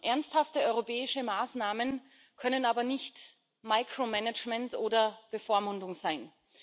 Ernsthafte europäische Maßnahmen können aber nicht micromanagement oder Bevormundung sein.